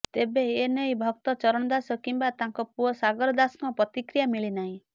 ତେବେ ଏ ନେଇ ଭକ୍ତ ଚରଣ ଦାସ କିମ୍ବା ତାଙ୍କ ପୁଅ ସାଗର ଦାସଙ୍କ ପ୍ରତିକ୍ରିୟା ମିଳିନାହିଁ